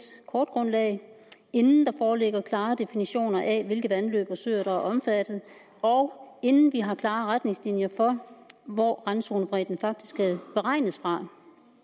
kortgrundlag inden der foreligger klare definitioner af hvilke vandløb og søer der er omfattet og inden vi har klare retningslinjer for hvor randzonebredden faktisk skal beregnes fra